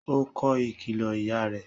Ó kọ ìkìlọ ìyá rẹ̀